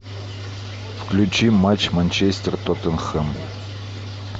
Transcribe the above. включи матч манчестер тоттенхэм